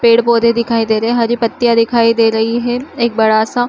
पेड़ पौधे दिखाई दे रही हैहरी पत्तिया दिखाई दे रही है एक बड़ा सा --